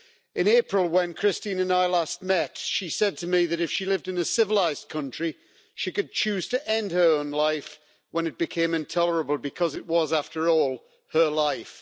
In April, when Christine and I last met, she said to me that if she lived in a civilised country, she could choose to end her own life when it became intolerable because it was, after all, her life.